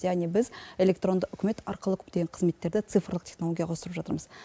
яғни біз электронды үкімет арқылы көптеген қызметтерді цифрлық технологияларға ауыстырып жатырмыз